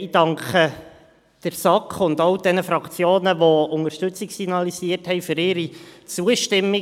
Ich danke der SAK und den Fraktionen, die Unterstützung signalisiert haben, für ihre Zustimmung.